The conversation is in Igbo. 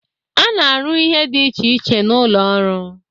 A na-arụ ihe dị iche iche n'ụlọ ọrụ.